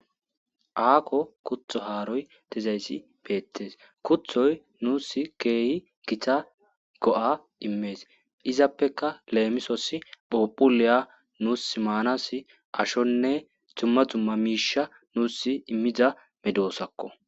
Aako kuthi haaroy dizayssi bettees. Kuthoy nuusi keehi Gita go7a immees. Izappeka nuussi phuuphulliya nuussi maanaassi ashonne dzumma dzumma miisha nuussi immida medoosakko.